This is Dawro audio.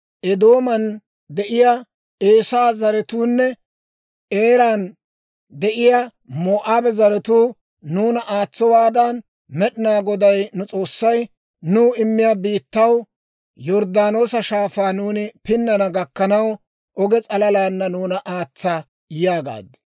Eedooman de'iyaa Eesaa zaratuunne, Eeran de'iyaa Moo'aaba zaratuu nuuna aatsowaadan, Med'inaa Goday nu S'oossay, nuw immiyaa biittaw Yorddaanoosa Shaafaa nuuni pinnana gakkanaw, oge s'alalaana nuuna aatsa› yaagaad.